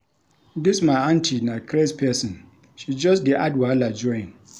Dis my auntie na craze pesin, she just dey add wahala join.